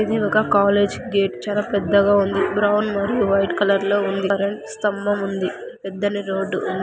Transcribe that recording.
ఇది ఒక college gate చాల పెద్దగ ఉంది. బ్రౌన్ మరియు వైట్ కలర్ లో ఉంది. కరెంట్ స్తంభం ఉంది. పెద్దని రోడ్డు --